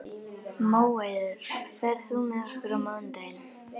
Móeiður, ferð þú með okkur á mánudaginn?